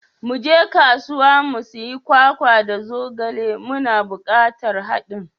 Muje kasuwa mu sayi kwakwa da zogale, muna bukatar hadin.